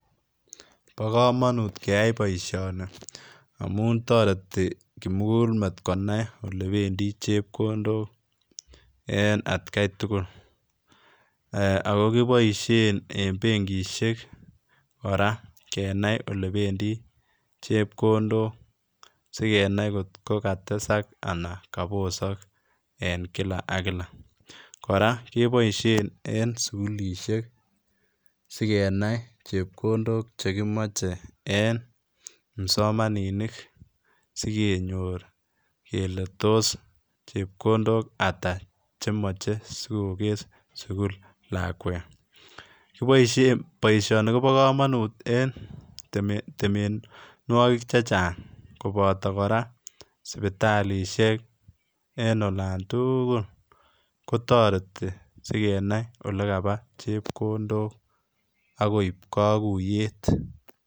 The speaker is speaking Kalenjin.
Bo komonut keyai boisioni amun toreti kimugulmet konai ole bendi chepkondok en atkaitugul, ee ako kiboisein en benkisiek koraa kenai ole bendi chepkondok sigenai kotkokatesak anan kobosok en kila ak kila, koraa keboisien en sukulisiek sigenai chepkondok chekimoche en kipsomaninik sikenyor kele tos chepkondok ata chemoche sikokes sukul lakwet, kiboisien boisionik kobo komonut en temenwogik chechang koboto koraa sipitalisiek en olan tugul kotoreti sikenai ole kaba chepkondok ak koib kaguiyet.